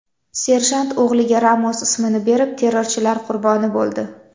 Serjant o‘g‘liga Ramos ismini berib, terrorchilar qurboni bo‘ldi.